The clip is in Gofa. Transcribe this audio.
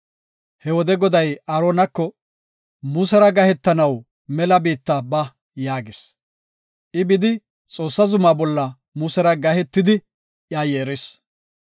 He wode Goday Aaronako, “Musera gahetanaw mela biitta ba” yaagis. I bidi, Xoossaa zuma bolla Musera gahetidi iya yeeris.